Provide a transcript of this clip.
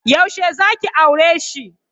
Yaushe zaki aureshi?